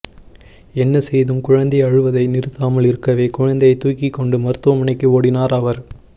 என்ன செய்தும் குழந்தை அழுவதை நிறுத்தாமல் இருக்கவே குழந்தையைத் தூக்கிக் கொண்டு மருத்துவமனைக்கு ஓடினார் அவர்